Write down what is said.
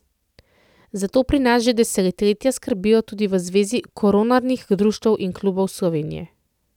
Za to pri nas že desetletja skrbijo tudi v Zvezi koronarnih društev in klubov Slovenije.